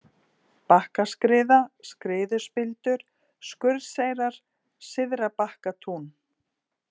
Bakkaskriða, Skriðuspildur, Skurðseyrar, Syðrabakkatún